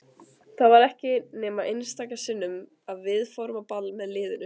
Það var ekki nema einstaka sinnum að við fórum á ball með liðinu.